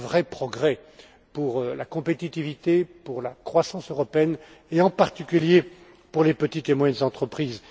C'est un vrai progrès pour la compétitivité, pour la croissance européenne et, en particulier, pour les petites et moyennes entreprises.